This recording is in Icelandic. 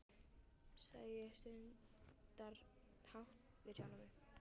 sagði ég stundarhátt við sjálfa mig.